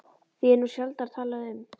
Því er nú sjaldnar talað um